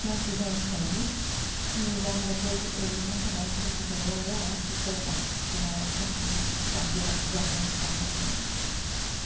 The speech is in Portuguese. transfusão de sangue e logo depois ele nunca mais se recuperou e eu acho que foi AIDS, que na época não se sabia diagnosticar muito bem.